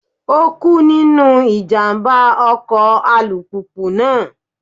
Ó kú nínú ìjàmbá ọkọ̀ alùpùpù náà.